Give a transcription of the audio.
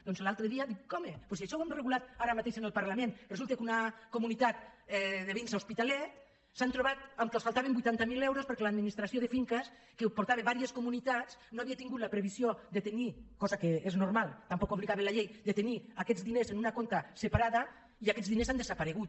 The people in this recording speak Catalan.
doncs l’altre dia dic home doncs si això ho hem regulat ara mateix en el parlament resulta que una comunitat de veïns a hospitalet s’han trobat que els faltaven vuitanta mil euros perquè l’administració de finques que portava diverses comunitats no havia tingut la previsió de tenir cosa que és normal tampoc hi obligava la llei aquests diners en un compte separat i aquests diners han desaparegut